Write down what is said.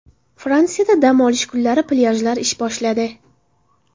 Fransiyada dam olish kunlari plyajlar ish boshladi.